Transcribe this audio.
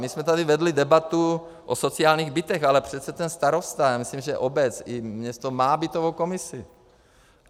My jsme tady vedli debatu o sociálních bytech, ale přece ten starosta, já myslím, že obec i město má bytovou komisi.